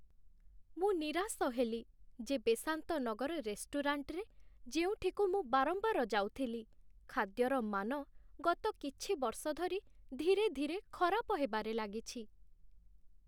ମୁଁ ନିରାଶ ହେଲି ଯେ ବେସାନ୍ତ ନଗର ରେଷ୍ଟୁରାଣ୍ଟରେ, ଯେଉଁଠିକୁ ମୁଁ ବାରମ୍ବାର ଯାଉଥିଲି, ଖାଦ୍ୟର ମାନ ଗତ କିଛି ବର୍ଷ ଧରି ଧୀରେ ଧୀରେ ଖରାପ ହେବାରେ ଲାଗିଛି